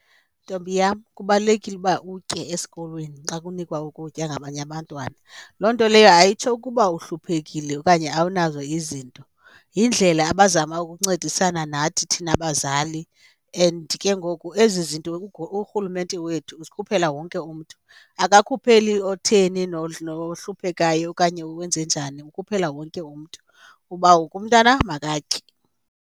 Ntombi yam, kubalulekile uba utye esikolweni xa kunikwa ukutya ngabanye abantwana. Loo nto leyo ayitsho ukuba uhluphekile okanye awunazo izinto, yindlela abazama ukuncedisana nathi thina bazali and ke ngoku ezi zinto urhulumente wethu uzikhuphela wonke umntu. Akakhupheli otheni nohluphekayo okanye wenze njani ukhuphela wonke umntu uba wonke umntana makatye.